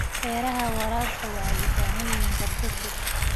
Beeraha waraabka waxay u baahan yihiin qorshe fog.